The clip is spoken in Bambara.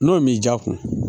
N'o m'i ja kun